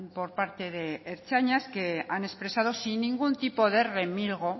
por parte de ertzainas que han expresado sin ningún tipo de remilgo